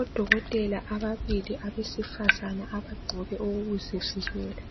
Odokotela ababili abesifazana abagqoke okokuzivikela